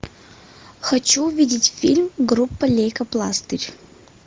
хочу увидеть фильм группа лейкопластырь